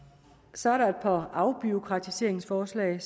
så er der et par afbureaukratiseringsforslag